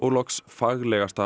faglegasta